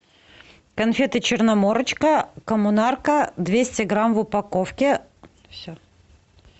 конфеты черноморочка коммунарка двести грамм в упаковке все